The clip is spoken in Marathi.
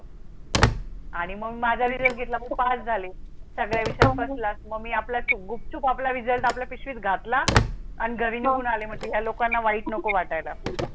आणि मंग माझा result घेताला मि पास झाले सगल्या विषयत फर्स्ट क्लास. मग मी आपल्याच गुपचूप आपला result आपल्या पिशवीत घातला आणि घरी निघुन आले म्हतल या लोकांना वाईट नको वाटाय ला.